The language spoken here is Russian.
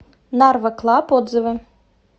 нарва клаб отзывы